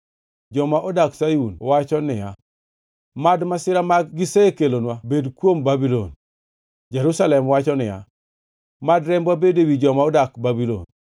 Joma odak Sayun wacho niya, “Mad masira ma gisekelonwa bed kuom Babulon.” Jerusalem wacho niya, “Mad rembwa bed ewi joma odak Babulon.”